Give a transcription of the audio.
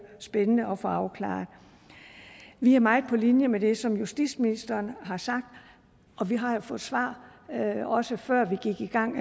spændende at få afklaret vi er meget på linje med det som justitsministeren har sagt og vi har jo fået svar også før vi gik i gang